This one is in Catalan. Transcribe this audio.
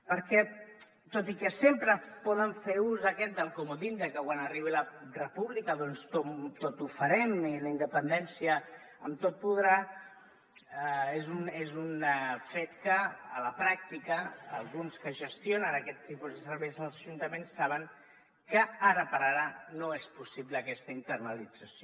perquè tot i que sempre poden fer ús del comodí de que quan arribi la república doncs tot ho farem i la independència amb tot podrà és un fet que a la pràctica alguns que gestionen aquest tipus de serveis als ajuntaments saben que ara per ara no és possible aquesta internalització